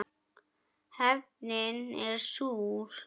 Hefndin er súr.